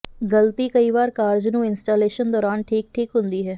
ਗਲਤੀ ਕਈ ਵਾਰ ਕਾਰਜ ਨੂੰ ਇੰਸਟਾਲੇਸ਼ਨ ਦੌਰਾਨ ਠੀਕ ਠੀਕ ਹੁੰਦੀ ਹੈ